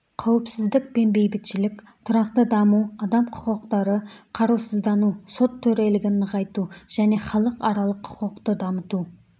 қауіпсіздік пен бейбітшілік тұрақты даму адам құқықтары қарусыздану сот төрелігін нығайту және іалықаралық құқықты дамыту